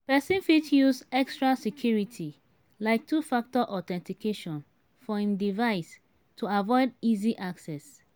person fit use extra security like 2 factor authentication for im device to avoid easy access